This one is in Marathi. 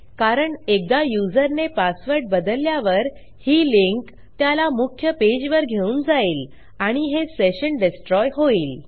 कारण एकदा युजरने पासवर्ड बदलल्यावर ही लिंक त्याला मुख्य पेजवर घेऊन जाईल आणि हे सेशन डेस्ट्रॉय होईल